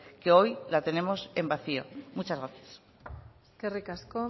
que hoy la tenemos en vacío muchas gracias eskerrik asko